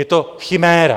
Je to chiméra.